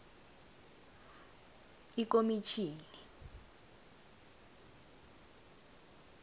ikomitjhini